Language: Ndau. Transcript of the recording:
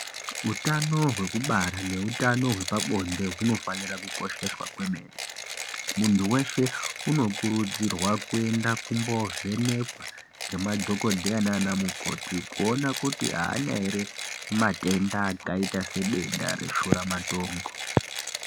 Utano wekubara nehutano wepabonde hunofanirwa kukosheswa zvemene mundu weshe unokurudzirwa kuenda kumbovhenekwa nemadhokoteya nanamukoti kuona kuti haana here matenda akaita sedenda reshura matongo.